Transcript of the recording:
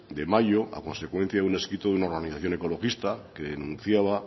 de mayo a consecuencia de un escrito de una organización ecologista que denunciaba